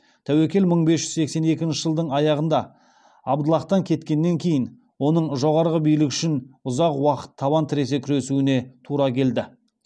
тәуекел мың бес жүз сексен екінші жылдың аяғында абдаллахтан кеткеннен кейін оның жоғарғы билік үшін ұзақ уақыт табан тіресе күресуіне тура келді